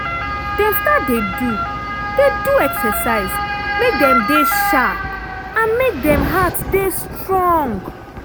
dem start dey do dey do exercise make dem dey sharp and make dem heart dey strong.